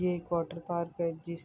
ایک واٹرپارک ہے جس--